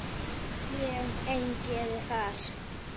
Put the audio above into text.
Ég ein geri það.